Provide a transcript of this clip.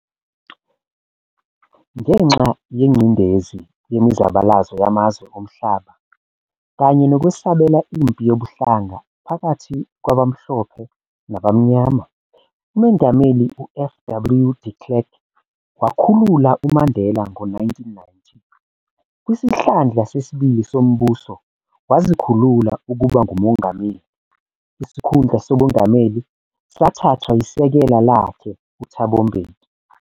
Ngenxa yengcindezi yemizabalazo yamazwe omhlaba, kanye nokwesabela impi yobuhlanga phakathi kwabamhlophe nabamnyama, uMongameli uF. W de Klerk wakhulula uMandela ngo-1990. Kwisihlandla sesibili sombuso wazikhulula ukuba nguMongameli, isikhundla sobungameli sathathwa yisekela lakhe uThabo Mbeki.